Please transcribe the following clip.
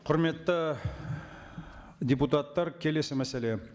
құрметті депутаттар келесі мәселе